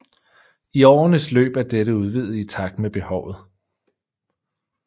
I årenes løb er dette udvidet i takt med behovet